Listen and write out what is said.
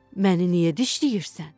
Məni niyə dişləyirsən?